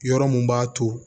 Yɔrɔ mun b'a to